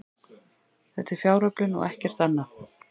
Þetta er fjáröflun og ekkert annað